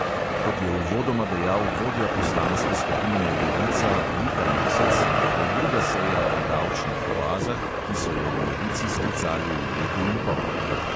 Kot je uvodoma dejal vodja poslanske skupine levica luka mesec, je to druga seja o davčnih oazah, ki so jo v levici sklicali v letu in pol.